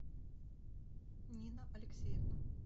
нина алексеевна